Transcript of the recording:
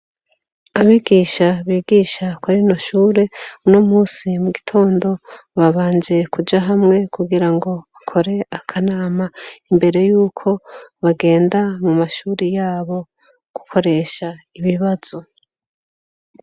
Abigisha bigisha kuri rino shure uno munsi mugitondo babanje kuja hamwe kugira bakore akanama, imbere yuko bagenda mu mashure yabo gukoresha ibibazo.